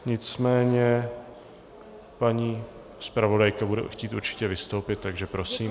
Nicméně paní zpravodajka bude určitě chtít vystoupit, takže prosím.